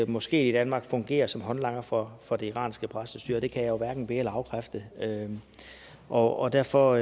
moské i danmark fungerer som håndlanger for for det iranske præstestyre og det kan jeg jo hverken be eller afkræfte og og derfor